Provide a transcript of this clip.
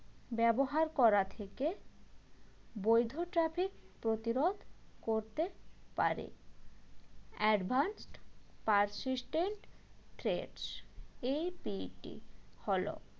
ব্যবহার করা থেকে বৈধ traffic প্রতিরোধ করতে পারে advanced persistent threat APT হল